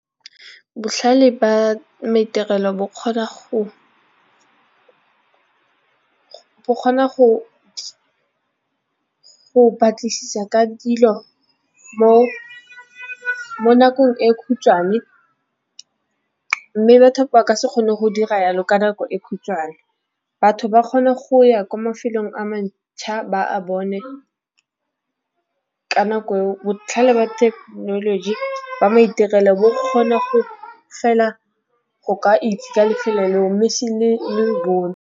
Botlhale jwa maitirelo bo kgona go batlisisa ka dilo mo nakong e khutšhwane, mme batho ba ka se kgone go dira yalo ka nako e khutshwane. Batho ba kgona go ya kwa mafelong a mantšha ba bone ka nako botlhale ba thekenoloji ba maitirelo bo kgona go fela go ka itse lefelo leo mme se le .